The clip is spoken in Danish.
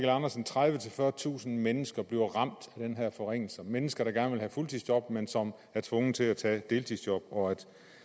tredivetusind fyrretusind mennesker bliver ramt af den her forringelse mennesker der gerne vil have fuldtidsjob men som er tvunget til at tage deltidsjob og